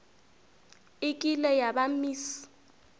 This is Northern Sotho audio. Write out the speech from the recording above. e kile ya ba miss